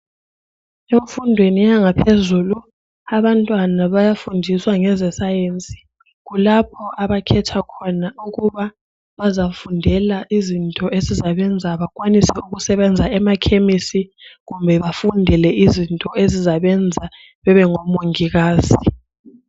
Emfundweni yangaphezulu abantwana bayafundiswa ngeze science . Kulapho abakhetha khona ukuba bazafundela izinto ezizabenza bekwanise ukusebenza emakhemisi kumbe bafundele izinto ezizabenza bebengo Mongikazi.